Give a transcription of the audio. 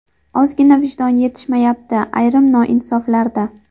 Ozgina vijdon yetishmayapti ayrim noinsoflarda”.